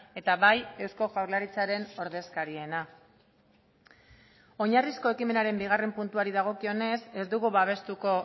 eta bai eusko jaurlaritzaren ordezkariena oinarrizko ekimenaren bigarren puntuari dagokionez ez dugu babestuko